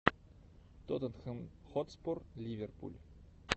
тоттенхэм хотспур ливерпуль